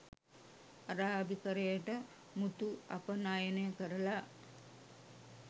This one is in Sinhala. අරාබිකරයට මුතු අපනයනය කරලා